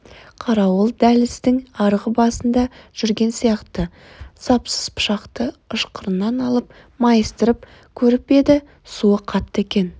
қарауыл дәліздің арғы басында жүрген сияқты сапсыз пышақты ышқырынан алып майыстырып көріп еді суы қатты екен